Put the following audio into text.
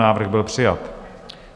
Návrh byl přijat.